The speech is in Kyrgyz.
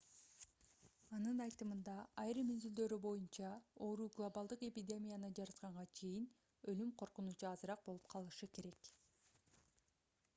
анын айтымында айрым изилдөөлөр боюнча оору глобалдык эпидемияны жаратканга чейин өлүм коркунучу азыраак болуп калышы керек